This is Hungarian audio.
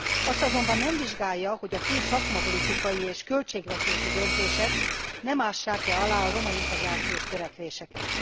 Azt azonban nem vizsgálja, hogy a fő szakmapolitikai és költségvetési döntések nem ássák e alá a roma integrációs törekvéseket.